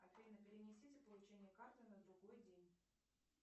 афина перенесите получение карты на другой день